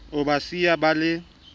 o ba siya ba le